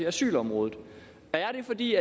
asylområdet er det fordi